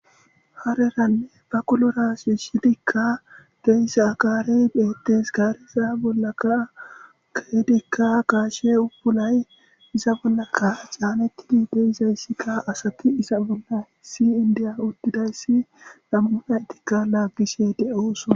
Ha daran baqqulora ha shishidika de'za gaare de'es. Gareza bollakka kehidikka gaashe buulay iza bollaka channetidi de'izayssikka asti iza bolla si'indiiya ottidayssi nam'u nayttikka laggishe de'ossona.